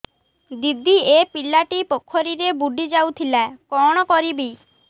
ଦିଦି ଏ ପିଲାଟି ପୋଖରୀରେ ବୁଡ଼ି ଯାଉଥିଲା କଣ କରିବି